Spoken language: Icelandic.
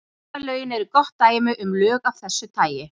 Umferðarlögin eru gott dæmi um lög af þessu tagi.